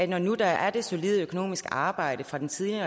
når nu der er det solide økonomiske arbejde fra den tidligere